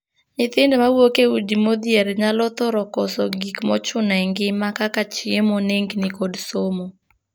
Nyithindo ma wuok e udi modhier nyalo thoro koso gik mochuno e ngima kaka chiemo, nengni, kod somo.